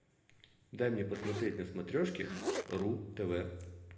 дай мне посмотреть на смотрешке ру тв